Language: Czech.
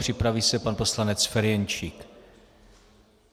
Připraví se pan poslanec Ferjenčík.